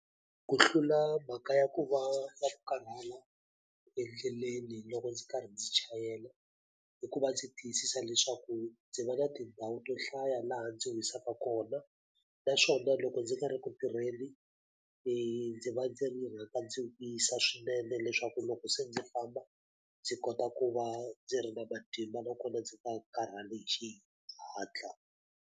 Ku hlula mhaka ya ku va na ku karhala endleleni loko ndzi karhi ndzi chayela, i ku va ndzi tiyisisa leswaku ndzi va na tindhawu to hlaya laha ndzi wisaka kona. Naswona loko ndzi nga ri ku tirheni, ndzi va ndzi ri rhanga ndzi wisa swinene leswaku loko se ndzi famba ndzi kota ku va ndzi ri na matimba nakona ndzi nga karhali hi xihatla.